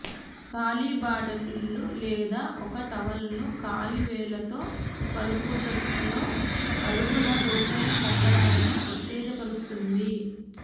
కాలిబాటలు లేదా ఒక టవల్ను కాలి వేళ్ళతో కలుపుటలో అడుగున లోతైన కండరాలను ఉత్తేజపరుస్తుంది